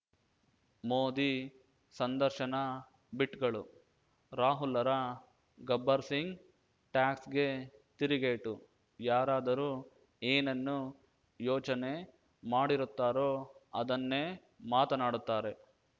ಮೋದಿ ಸಂದರ್ಶನ ಬಿಟ್‌ಗಳು ರಾಹುಲ್‌ರ ಗಬ್ಬರ್‌ ಸಿಂಗ್‌ ಟ್ಯಾಕ್ಸ್ ಗೆ ತಿರುಗೇಟು ಯಾರಾದರೂ ಏನನ್ನು ಯೋಚನೆ ಮಾಡಿರುತ್ತಾರೋ ಅದನ್ನೇ ಮಾತನಾಡುತ್ತಾರೆ